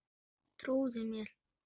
Trúðu mér.